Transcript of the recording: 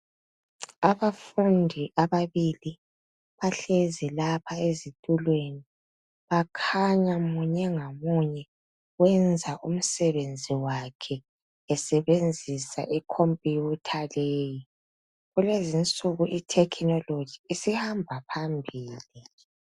Abafundi ababili bahlezi lapha ezitulweni. Bakhanya munye ngamunye wenza umsebenzi wakhe esebenzisa ikhompuyutha leyi. Kulezinsuku ithekhinoloji isihamba phambili.